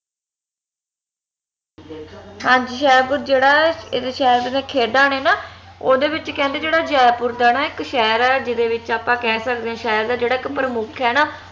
ਹਾਂਜੀ ਜੇਹੜਾ ਏਹਦੇ ਸ਼ਹਿਰ ਚ ਜਿਹੜਾ ਖੇਡਾਂ ਨੇ ਨਾ ਓਹਦੇ ਵਿਚ ਕਹਿੰਦੇ ਜੇਹੜਾ ਜੈਪੁਰ ਦਾ ਨਾ ਇਕ ਸ਼ਹਿਰ ਆ ਜਿਹਦੇ ਵਿਚ ਆਪਾ ਕਹਿ ਸਕਦੇ ਆ ਸ਼ਹਿਰ ਦਾ ਜਿਹੜਾ ਇਕ ਪ੍ਰਮੁੱਖ ਆ ਨਾ